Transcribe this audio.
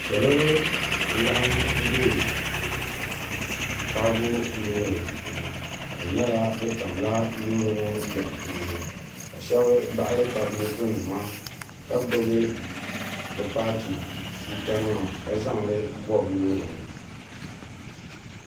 salo n laɣam bɛ kaago loori puuni ka di nyɛla bi tamla loori ŋɔ lɔɣu puuni ka shab baɣali tabi moto nima ka gbubi bi paati tuuta nima ka zaŋli bobi loori ŋɔ